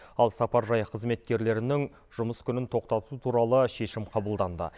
ал сапаржай қызметкердерінің жұмыс күнін тоқтату туралы шешім қабылданды